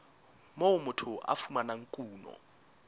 moo motho a fumanang kuno